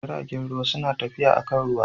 Jiragen ruwa suna tafiya akan ruwa.